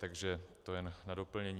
Takže to jen na doplnění.